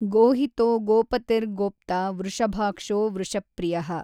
ಗೋಹಿತೋ ಗೋಪತಿರ್ಗೋಪ್ತಾ ವೃಷಭಾಕ್ಷೋ ವೃಷಪ್ರಿಯಃ।